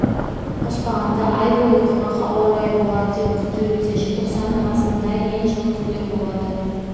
қоспағанда ай бойы құрғақ ауа райы болады деп күтілуде желтоқсанның басында ең жылы күндер болады